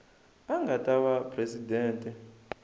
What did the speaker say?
a nga ta va presidente